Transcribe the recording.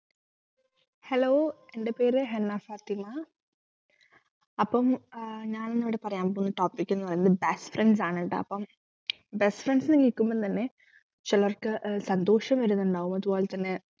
hello എന്റെ പേര് ഹെന ഫാത്തിമ അപ്പം ആഹ് ഞാൻ ഇന്നിവിടെ പറയാൻ പോവുന്ന topic ന്നു പറയുന്നത് best friends ആണ്ട്ടാ അപ്പം best friends ന്നു കേൾക്കുമ്പോ തന്നെ ചിലർക്ക് സന്തോഷം വരുന്നുണ്ടാകും അതുപോലെതന്നെ